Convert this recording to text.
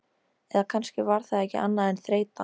Eða kannski var það ekki annað en þreyta.